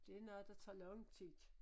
Det er noget der tager lang tid